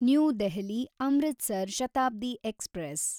new ದೆಹಲಿ–ಅಮೃತಸರ್ Shatabdi express